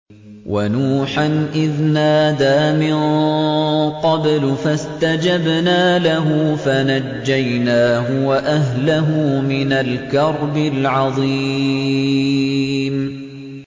وَنُوحًا إِذْ نَادَىٰ مِن قَبْلُ فَاسْتَجَبْنَا لَهُ فَنَجَّيْنَاهُ وَأَهْلَهُ مِنَ الْكَرْبِ الْعَظِيمِ